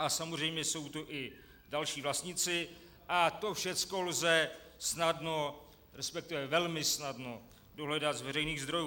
A samozřejmě jsou tu i další vlastníci, a to všecko lze snadno, respektive velmi snadno dohledat z veřejných zdrojů.